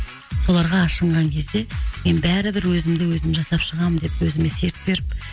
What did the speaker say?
соларға ашынған кезде мен бәрібір өзімді өзім жасап шығамын деп өзіме серт беріп